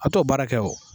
A bɛ t'o baara kɛ o